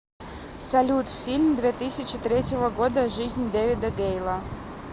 салют фильм две тысячи третьего года жизнь дэвида гейла